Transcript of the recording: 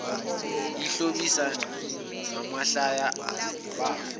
eyihlobisa ngamahlaya bafe